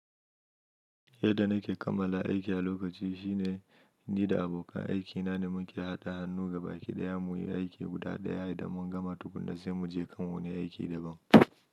Yadda nake kammala aiki a lokaci shine ni da abokan aikina ne muke haɗa hannu gabaki ɗaya muyi aiki guda ɗaya idan mun gama tukunna sai muje kan wani aiki daban.